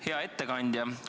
Hea ettekandja!